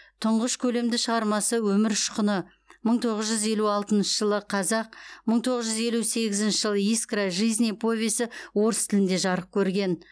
тұңғыш көлемді шығармасы өмір ұшқыны мың тоғыз жұз елу алтыншы жылы қазақ мың тоғыз жүз елу сегізінші жылы искра жизни повесі орыс тілінде жарық көрген